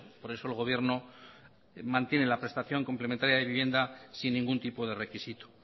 por eso el gobierno mantiene la prestación complementaria de vivienda sin ningún tipo de requisito